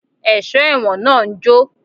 Ẹ̀sọ́ ẹ̀wọ̀n náà ń jó